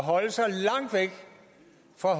for